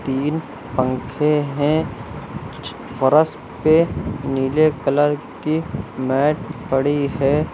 तीन पंखे हैं फर्श पे नीले कलर की मेट पड़ी है।